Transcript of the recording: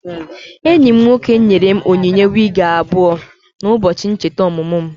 Enyi m nwoke nyere m onyinye wigi abụọ na ụbọchị ncheta ọmụmụ mụ